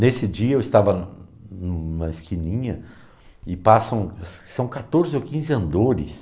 Nesse dia eu estava em uma esquininha e passam, são quatorze ou quinze andores.